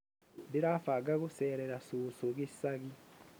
Ndĩrabanga gũceerera cũcũ gĩcagi